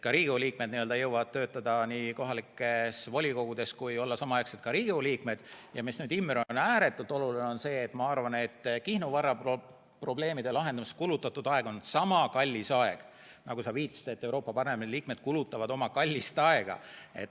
Ka Riigikogu liikmed jõuavad töötada nii kohalikes volikogudes kui olla samaaegselt ka Riigikogu liikmed, ja mis nüüd, Imre, on ääretult oluline, on see, et ma arvan, et Kihnu valla probleemide lahendamiseks kulutatud aeg on sama kallis aeg nagu Euroopa Parlamendi liikmete kallis aeg.